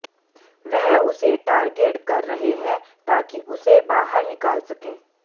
वह उसे टारगेट कर रहे है ताकि उसे बाहर निकाल सके